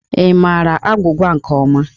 Ị maara agwụgwa nke ọma?